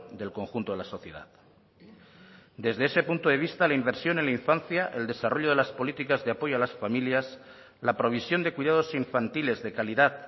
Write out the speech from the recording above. del conjunto de la sociedad desde ese punto de vista la inversión en la infancia el desarrollo de las políticas de apoyo a las familias la provisión de cuidados infantiles de calidad